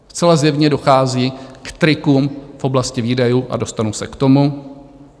Zcela zjevně dochází k trikům v oblasti výdajů, a dostanu se k tomu.